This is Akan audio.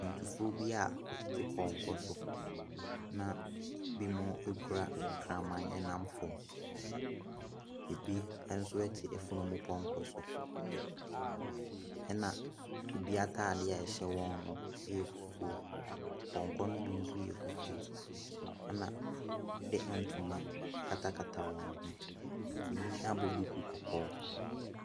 Akwantufoɔ bi a wɔtete pɔnkɔ so na ebi mo kura kraman ɛnam fam. Ebi nso ɛte efurupɔnkɔ so. Ɛna ebi ataade a ɛhyɛ wɔn no ɛyɛ fufuo. Pɔnkɔ no bi so yɛ fufuo. Ɛna wɔde ntoma akata kata wɔn hwene. Ebi abɔ duku kɔkɔɔ.